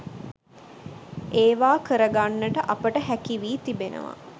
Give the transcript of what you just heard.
ඒවා කර ගන්නට අපට හැකි වී තිබෙනවා.